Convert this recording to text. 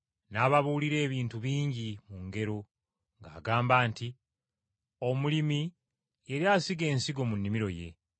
N’ababuulira ebintu bingi mu ngero ng’agamba nti, “Omulimi yali asiga ensigo mu nnimiro ye.